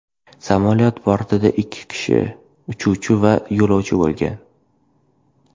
Samolyot bortida ikki kishi uchuvchi va yo‘lovchi bo‘lgan.